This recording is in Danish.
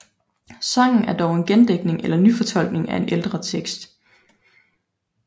Sangen er dog en gendigtning eller nyfortolkning af en ældre tekst